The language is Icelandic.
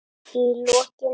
Í lokin.